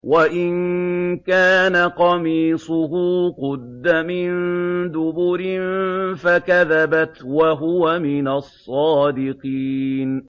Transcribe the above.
وَإِن كَانَ قَمِيصُهُ قُدَّ مِن دُبُرٍ فَكَذَبَتْ وَهُوَ مِنَ الصَّادِقِينَ